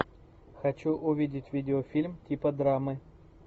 хочу увидеть видеофильм типа драмы